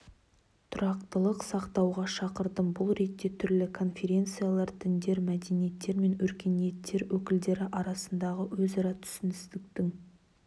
тұрақтылықты сақтауға шақырдым бұл ретте түрлі конфессиялар діндер мәдениеттер мен өркениеттер өкілдері арасындағы өзара түсіністіктің